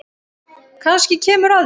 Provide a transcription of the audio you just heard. Kannski kemur að því.